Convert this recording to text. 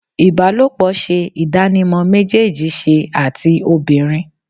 Ibalopo ṣe idanimọ mejeeji ṣe ati obinrin